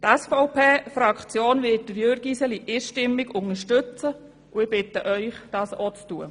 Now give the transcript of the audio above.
Die SVPFraktion wird Jürg Iseli einstimmig unterstützen, und ich bitte Sie, dies ebenfalls zu tun.